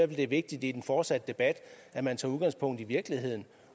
det er vigtigt i den fortsatte debat at man tager udgangspunkt i virkeligheden